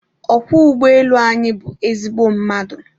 ọkwọ ụgbọelu anyị bụ ezigbo mmadụ